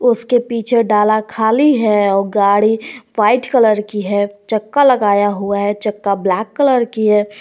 उसके पीछे डाला खाली है और गाड़ी वाइट कलर की है चक्का लगाया हुआ है चक्का ब्लैक कलर की है।